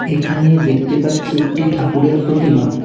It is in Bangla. এখানে দেখতে পাচ্ছি একটি ঠাকুরের প্রতিমা।